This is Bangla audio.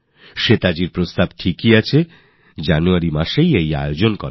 আর শ্বেতার অভিযোগ সঠিক যে আমার এটা জানুয়ারিতে করা উচিত